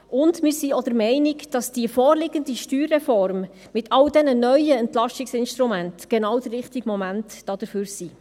Wir sind auch der Meinung, dass die vorliegende Steuerreform mit all den neuen Entlastungsinstrumenten genau der richtige Moment dafür ist.